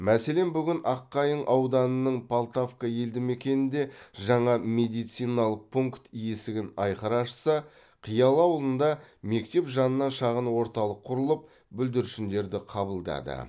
мәселен бүгін аққайың ауданының полтавка елді мекенінде жаңа медициналық пункт есігін айқара ашса қиялы ауылында мектеп жанынан шағын орталық құрылып бүлдіршіндерді қабылдады